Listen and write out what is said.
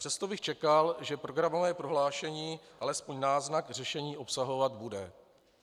Přesto bych čekal, že programové prohlášení alespoň náznak řešení obsahovat bude.